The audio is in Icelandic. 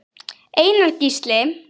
Einar Gísli.